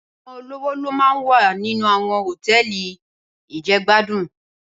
Awòn ólówó ló má n wá ninú áwòn hótèlí ijègbádún